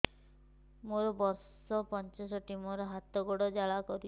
ମୋର ବର୍ଷ ପଞ୍ଚଷଠି ମୋର ହାତ ଗୋଡ଼ ଜାଲା କରୁଛି